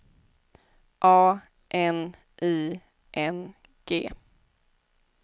A N I N G